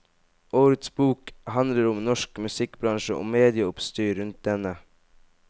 Årets bok handler om norsk musikkbransje og medieoppstyret rundt denne.